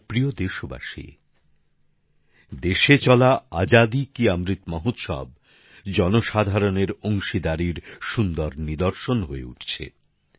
আমার প্রিয় দেশবাসী দেশে চলা আজাদী কী অমৃত মহোৎসব জনসাধারণের অংশগ্রহণের মাধ্যমে সুন্দর নিদর্শন হয়ে উঠছে